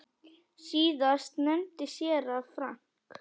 Síðast nefndi séra Frank